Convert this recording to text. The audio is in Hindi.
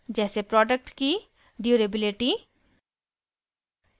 जैसे प्रोडक्ट की ड्यूरेबिलिटी